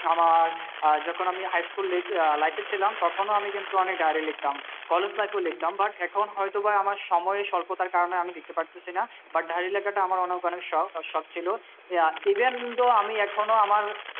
আমার যখন আমি high school life এ ছিলাম তখনও আমি কিন্তু অনেক diary লিখতাম college life এ ও লিখতাম but এখন হয় তো বা আমার সময় সল্পতার কারণে আমি লিখতে পারতেছিনা but diary লেখাটা আমার অনেক অনেক শখ আর শখ ছিল even তো আমি এখনো আমার